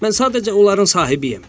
Mən sadəcə onların sahibiyəm.